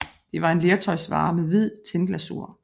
Det var en lertøjsvare med hvid tinglasur